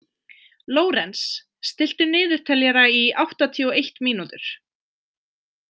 Lórenz, stilltu niðurteljara í áttatíu og eitt mínútur.